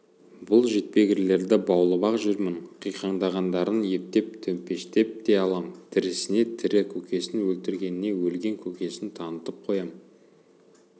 бұл жетпегірлерді баулып-ақ жүрмін қиқаңдағандарын ептеп төмпештеп те алам тірісіне тірі көкесін өлгендеріне өлген көкесін танытып қоям